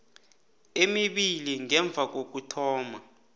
emibili ngemva kokuthoma